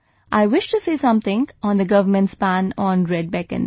I wish to say something on the government's ban on red beacons